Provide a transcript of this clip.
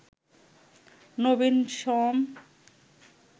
Nabin Shyam."